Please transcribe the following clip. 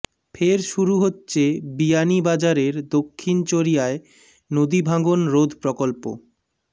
ফের শুরু হচ্ছে বিয়ানীবাজারের দক্ষিণ চরিয়ায় নদী ভাঙ্গন রোধ প্রকল্প